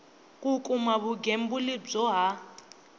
ku kuma vugembuli byo ha